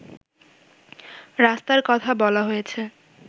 রাস্তার কথা বলা হয়েছে